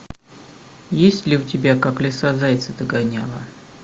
есть ли у тебя как лиса зайца догоняла